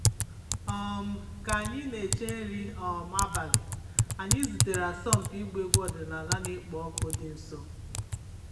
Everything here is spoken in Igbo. um Ka anyị na-eche nri um abalị, anyị zutere asọmpi ịgba egwu ọdịnala na-ekpo ọkụ dị nso.